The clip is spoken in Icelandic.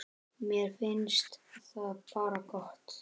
Mér finnst það bara gott.